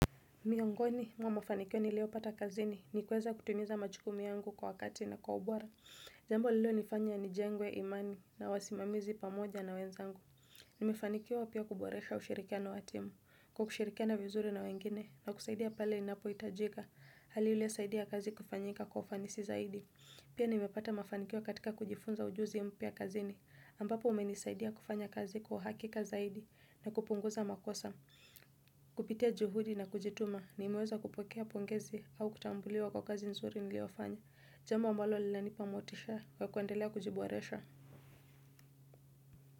Miongoni mwa mafanikio nilio pata kazini ni kweza kutimiza majukumu yangu kwa wakati na kwa ubora. Jambo lilo nifanya nijengwe imani na wasimamizi pamoja na wenzangu. Nimefanikiwa pia kuboresha ushirikiano watimu, kwa kushirikiana vizuri na wengine na kusaidia pale inapoitajika. Hali iliyo saidia kazi kufanyika kwa ufanisi zaidi. Pia nimepata mafanikio katika kujifunza ujuzi mpya kazini ambapo umenisaidia kufanya kazi kwa uhakika zaidi na kupunguza makosa. Kupitia juhudi na kujituma nimeweza kupokea pongezi au kutambuliwa kwa kazi nzuri niliyofanya. Jambo ambalo linanipa motisha kwa kuendelea kujiboresha.